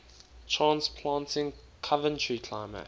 transplanting coventry climax